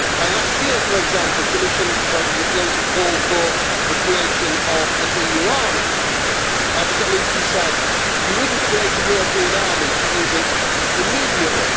Last year, for example, Commission President Juncker called for the creation of an EU army, but at least he said you wouldn't create a European army to use it immediately'.